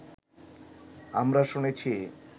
আমরা শুনেছি